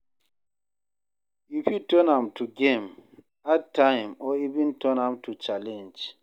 You fit turn am to game, add time or even turn am to challenge